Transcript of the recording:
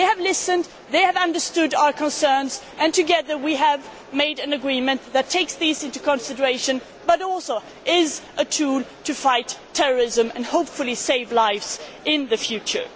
They have listened, they have understood our concerns, and together we have come to an agreement that takes these into consideration, but is also a tool to fight terrorism and, hopefully, save lives in the future.